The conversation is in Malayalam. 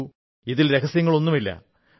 നോക്കൂ ഇതിൽ രഹസ്യമൊുമില്ല